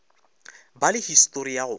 ba le histori ya go